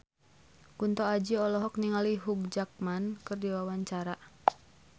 Kunto Aji olohok ningali Hugh Jackman keur diwawancara